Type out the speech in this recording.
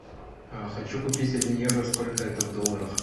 а хочу купить один евро сколько это в долларах